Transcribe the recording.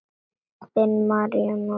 Þinn, Marinó Ingi.